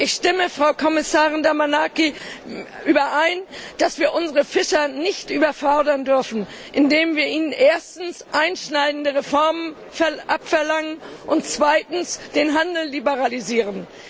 Ich stimme mit Frau Kommissarin Damanaki überein, dass wir unsere Fischer nicht überfordern dürfen, indem wir ihnen erstens einschneidende Reformen abverlangen und zweitens den Handel liberalisieren.